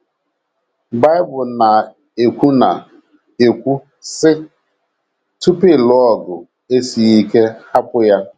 Bible na - ekwu na - ekwu, sị: “ Tupu ịlụ ọgụ esie ike hapụ ya. ”